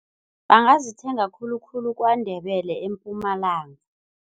Bangazithenga khulukhulu KwaNdebele eMpumalanga.